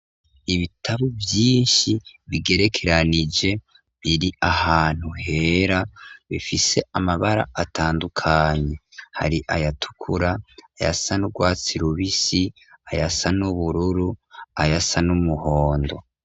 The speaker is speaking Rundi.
ibitabu vyinshi bigerekeranije , biri ahantu hera, bifise amabara atandukanye, hari ayatukura, ayasa n'ugwatsi rubisi, ayasa n'ubururu, ayasa n'umuhondo.